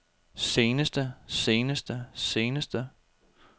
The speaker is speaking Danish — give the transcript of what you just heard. seneste seneste seneste